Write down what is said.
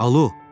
Alo!